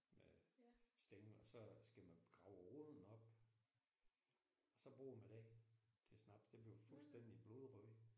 Med stængel og så skal man grave roden op og så bruger man den til snaps den bliver fuldstændig blodrød